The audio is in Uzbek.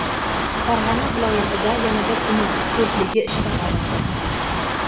Farg‘ona viloyatida yana bir tuman "to‘rtligi" ishdan olindi.